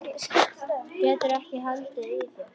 Geturðu ekki haldið í þér?